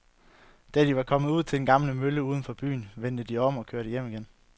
Da de var kommet ud til den gamle mølle uden for byen, vendte de om og kørte hjem igen.